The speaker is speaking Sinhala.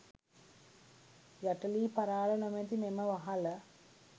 යට ලී පරාළ නොමැති මෙම වහල